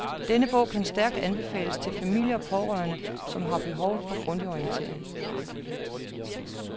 Denne bog kan stærkt anbefales til familie og pårørende, som har behov for grundig orientering.